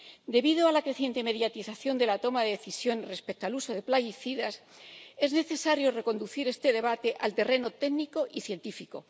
Debido a la creciente mediatización de la toma de decisiones respecto al uso de plaguicidas, es necesario reconducir este debate al terreno técnico y científico.